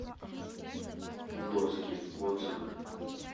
доски отзывы